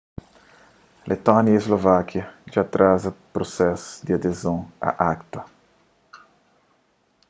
letónia y slovákia dja atraza prusesu di adezon a acta